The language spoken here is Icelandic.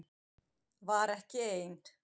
Var ekki ein